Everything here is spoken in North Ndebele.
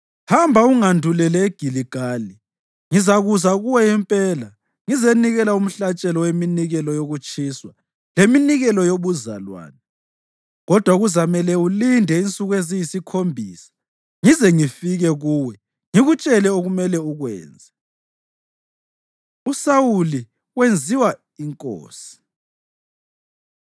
Hamba ungandulele eGiligali. Ngizakuza kuwe impela ngizenikela umhlatshelo weminikelo yokutshiswa leminikelo yobuzalwane. Kodwa kuzamele ulinde insuku eziyisikhombisa ngize ngifike kuwe ngikutshele okumele ukwenze.” USawuli Wenziwa Inkosi